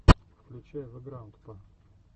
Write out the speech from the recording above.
включай вэграндпа